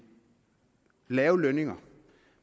lave lønninger